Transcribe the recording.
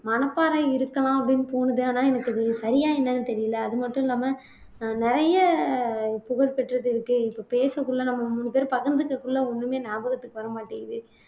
மணப்பாறை இருக்கலாம் அப்படின்னு தோணுது ஆனா எனக்கு அது சரியா என்னன்னு தெரியலே அது மட்டும் இல்லாம ஆஹ் நிறைய புகழ்பெற்றது இருக்கு இப்ப பேசக்குள்ள நம்ம மூணு பேரும் பகிர்ந்ததுக்குள்ள ஒண்ணுமே ஞாபகத்துக்கு வர மாட்டேங்குது